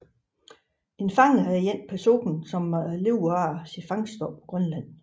En fanger er en person der lever af fangst på Grønland